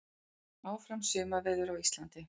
Áfram sumarveður á Íslandi